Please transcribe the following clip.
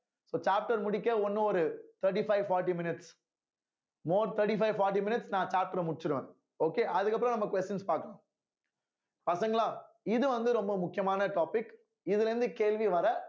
so chapter முடிக்க இன்னும் ஒரு thirty-five forty minutes more thirty-five forty minutes நான் chapter அ முடிச்சிருவேன் okay அதுக்கப்புறம் நம்ம questions பார்க்கணும் பசங்களா இது வந்து ரொம்ப முக்கியமான topic இதுல இருந்து கேள்வி வர